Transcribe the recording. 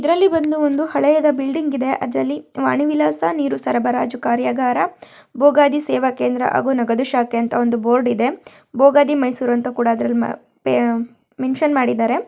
ಇದರಲ್ಲಿ ಬಂದು ಒಂದು ಹಳೆಯದ ಬಿಲ್ಡಿಂಗ್ ಇದೆ ಅದ್ರಲ್ಲಿ ವಾಣಿವಿಲಾಸ ನೀರು ಸರಬರಾಜು ಕಾರ್ಯಾಗಾರ ಭೋಗಾದಿ ಸೇವಾಕೇಂದ್ರ ಹಾಗೂ ನಗದು ಶಾಖೆ ಅಂತ ಒಂದು ಬೋರ್ಡ್ ಇದೆ. ಭೋಗಾದಿ ಮೈಸೂರು ಅಂತ ಅದ್ರಲ್ಲ್ ಪೆ ಮೆನ್ಷನ್ ಮಾಡಿದ್ದಾರೆ.